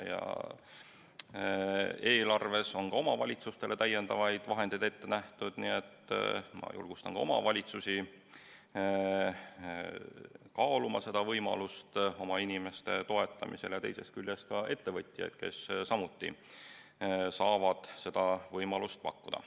Eelarves on ka omavalitsustele täiendavaid vahendeid ette nähtud, nii et ma julgustan ka omavalitsusi kaaluma seda võimalust oma inimeste toetamisel ja teisest küljest ka ettevõtjaid, kes samuti saavad seda võimalust pakkuda.